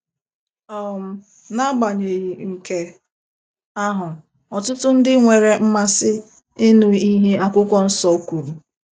um N’agbanyeghị nke ahụ, ọtụtụ ndị nwere mmasị ịnụ ihe akwụkwọ nsọ kwuru.